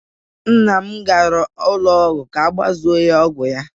Nna m gara ụlọ ọgwụ ka ọ gbazuo ọgwụ ya.